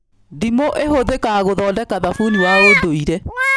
Ndimũ ĩhũthĩkaga gũthondeka thabuni wa ũndũire